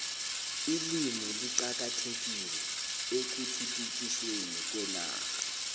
ilimi liqakathekile ekhuthuthukisweni kwenarha